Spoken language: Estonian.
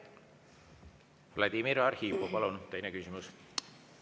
Vladimir Arhipov, palun, teine küsimus!